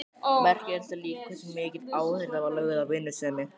Merkilegt er líka hversu mikil áhersla var lögð á vinnusemi.